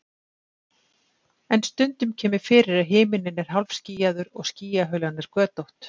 en stundum kemur fyrir að himinninn er hálfskýjaður og skýjahulan er götótt